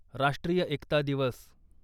राष्ट्रीय एकता दिवस